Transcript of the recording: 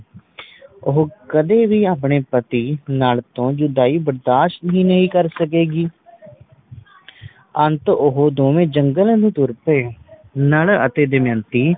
ਉਹ ਕਦੇ ਵੀ ਆਪਣੇ ਪਤੀ ਨਾਲ ਜੁਦਾਈ ਬਰਦਾਸ਼ਤ ਹੀ ਨਹੀਂ ਕਰ ਸਕੇਗੀ ਅੰਤ ਉਹ ਦੋਵੇ ਜੰਗਲੇ ਨੂੰ ਤੁਰ ਪਾਏ ਨੱਲ ਅਤੇ ਦਮਯੰਤੀ